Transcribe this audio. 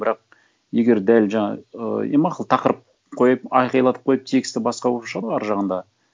бірақ егер дәл жаңа ы е мақұл тақырып қойып айқайлатып қойып тексті басқа болып шығады ғой әр жағында